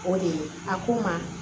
O de ye a ko ma